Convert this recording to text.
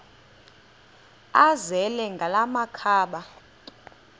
azele ngala makhaba